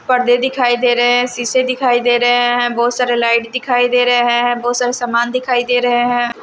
पर्दे दिखाई दे रहे हैं शीशे दिखाई दे रहे हैं बहुत सारे लाइट दिखाई दे रहे हैं बहुत सारे सामान दिखाई दे रहे हैं।